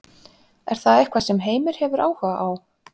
Er það eitthvað sem Heimir hefur áhuga á?